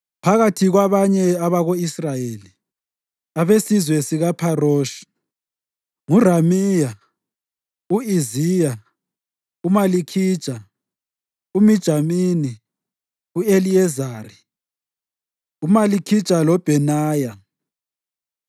Phakathi kwabanye abako-Israyeli: Abesizwe sikaPharoshi: nguRamiya, u-Iziya, uMalikhija, uMijamini, u-Eliyezari, uMalikhija loBhenaya.